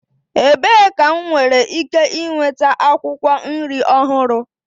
Ebee ka m nwere ike nweta akwụkwọ nri ọhụrụ?